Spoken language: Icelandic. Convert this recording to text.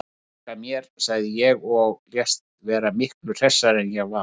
Ég bjarga mér, sagði ég og lést vera miklu hressari en ég var.